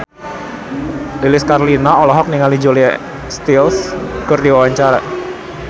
Lilis Karlina olohok ningali Julia Stiles keur diwawancara